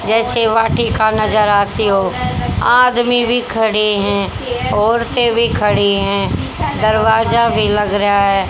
जैसे वाटिका नजर आती हो आदमी भी खड़े है औरते भी खड़ी है दरवाजा भी लग रहा है।